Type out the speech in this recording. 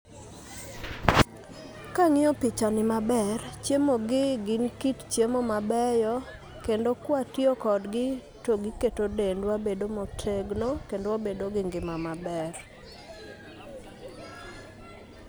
Kang'iyo pichani maber, chiemogi gin kit chiemo mabeyo kendo kwatiyo kodgi, to giketo dendwa bedo motegno kendo wabedo gi ngima maber.